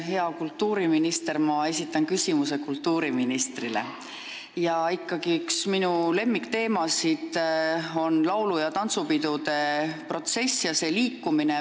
Hea kultuuriminister – ma esitan küsimuse kultuuriministrile –, minu üks lemmikteemasid on ikkagi laulu- ja tantsupidude protsess ja see liikumine.